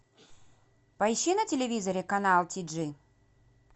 поищи на телевизоре канал ти джи